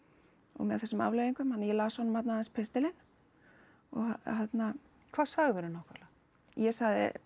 og með þessum afleiðingum þannig að ég las honum þarna aðeins pistilinn og hérna hvað sagðirðu nákvæmlega ég sagði